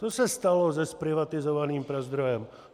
To se stalo se zprivatizovaným Prazdrojem.